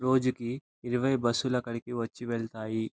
రోజుకి ఇరవై బస్సులు అక్కడకి వచ్చి వెళ్తాయి.